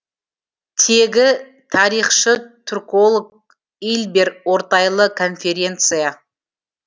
тегі тарихшы түрколог ильбер ортайлы конференция